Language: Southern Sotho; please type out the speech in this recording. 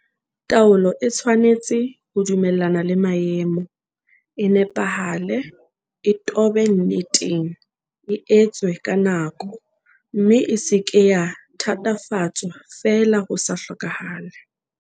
Taolo e tshwanetse ho dumellana le maemo, e nepahale, e tobe nneteng, e etswe ka nako, mme e se ke ya thatafatswa feela ho sa hlokahale.